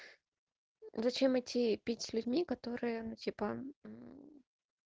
зачем идти пить с людьми которые ну типа